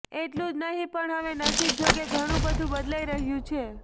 એટલું જ નહીં પણ હવે નસીબજોગે ઘણું બધું બદલાઈ રહ્યું છે